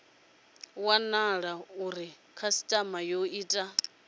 wanala uri khasitama yo ita